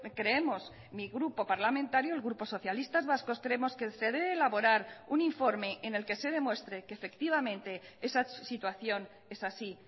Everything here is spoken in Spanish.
creemos mi grupo parlamentario el grupo socialistas vascos creemos que se debe elaborar un informe en el que se demuestre que efectivamente esa situación es así